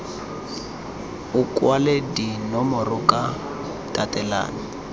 o kwale dinomoro ka tatelano